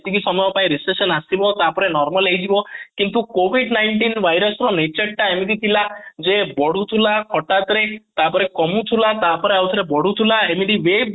ଯେତିକି ସମୟ ପାଇଁ ଆସିବ ତାପରେ normal ହେଇଯିବ କିନ୍ତୁ covid nineteen virus ର nature ଟା ଏମିତି ଥିଲା ଯେ ବଢ଼ୁଥିଲା ହଟାତ ରେ ତାପରେ କମୁଥିଲା ତାପରେ ଆଉ ଥରେ ବଢ଼ୁଥିଲା ଏମିତି wave